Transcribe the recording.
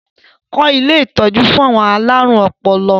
Kọ́ ilé ìtọ́jú fún àwọn alárùn ọpọlọ!